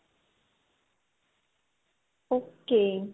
okay